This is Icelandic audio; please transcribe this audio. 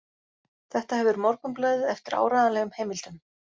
Þetta hefur Morgunblaðið eftir áreiðanlegum heimildum